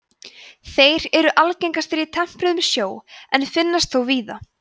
þeir eru algengastir í tempruðum sjó en finnast þó víðar